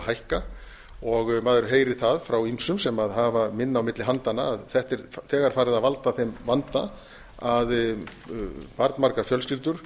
að hækka maður heyrir það frá ýmsum sem hafa minna á milli handanna að þetta er þegar farið að valda þeim vanda að barnmargar fjölskyldur